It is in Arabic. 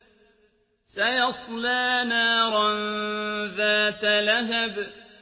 سَيَصْلَىٰ نَارًا ذَاتَ لَهَبٍ